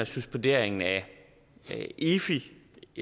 suspenderingen af efi